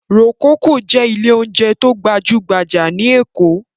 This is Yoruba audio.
Rococo jẹ́ ilé-oúnjẹ tó gbajú-gbajà ní Èkó.